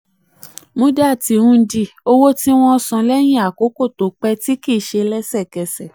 muddati hundi: um owó tí wọ́n san um lẹ́yìn àkókò tó um pé kìí kìí ṣe lẹ́sẹ̀kẹsẹ̀.